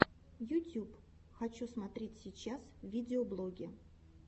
ютюб хочу смотреть сейчас видеоблоги